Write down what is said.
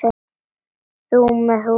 Þú með húfu.